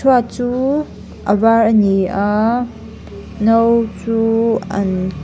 chu a var a ni a no chu an ke--